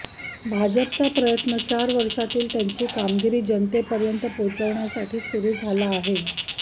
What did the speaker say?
भाजपचा प्रयत्न चार वर्षांतील त्यांची कामगिरी जनतेपर्यंत पोचवण्यासाठी सुरू झाला आहे